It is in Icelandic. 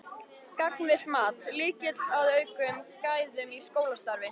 Gagnvirkt mat: Lykill að auknum gæðum í skólastarfi?